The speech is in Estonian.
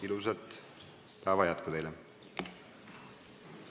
Ilusat päeva jätku teile!